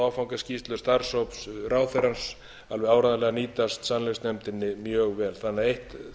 áfangaskýrslu starfshóps ráðherrans alveg áreiðanlega nýtast sannleiksnefndinni mjög vel þannig að eitt þvælist ekki fyrir öðru